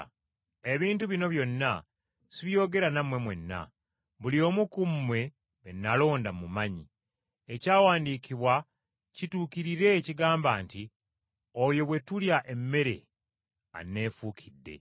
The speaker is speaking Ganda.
Ebintu bino byonna sibyogera nammwe mwenna, buli omu ku mmwe be nalonda mmumanyi; ekyawandiikibwa kituukirire ekigamba nti, ‘Oyo bwe tulya emmere anneefuukidde!’